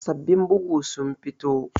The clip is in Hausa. Sabbin bugu sun fito